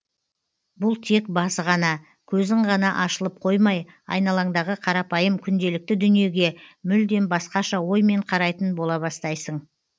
бұл тек басы ғана көзің ғана ашылып қоймай айналаңдағы қарапайым күнделікті дүниеге мүлдем басқаша оймен қарайтын бола бастайсың